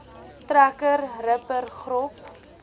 trekker ripper grop